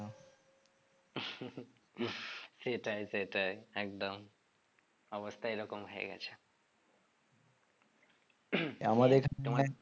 সেটাই সেটাই একদম অবস্থা এরকম হয়ে গেছে